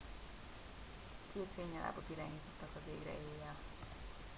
két fénynyalábot irányítottak az égre éjjelre